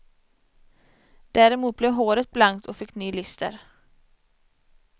Däremot blev håret blankt och fick ny lyster.